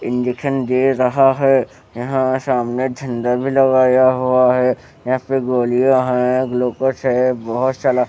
दे रहा है यहां सामने झंडा भी लगाया हुआ है यहां पे गोलियां है बहोत सारा--